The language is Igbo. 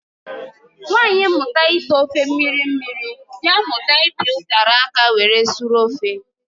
Nwanyị mụta ite ofe mmiri mmiri, dị amụta ịpi utara aka were sụrụ ofe